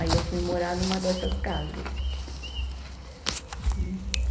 Aí eu fui morar numa dessas casas, né